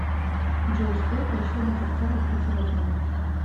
джой сколько еще до конца рабочего дня